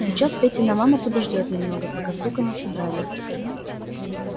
сейчас петина мама подождёт немного пока сука на собрании